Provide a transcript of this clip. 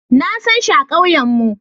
Na sanshi a kauyen mu.